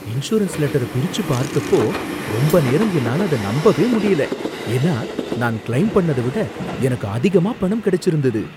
insurance லெட்டர பிரிச்சுப் பார்த்தப்போ ரொம்ப நேரம் என்னால அத நம்பவே முடியல, ஏன்னா நான் கிளெய்ம் பண்ணத விட எனக்கு அதிகமா பணம் கிடைச்சிருந்தது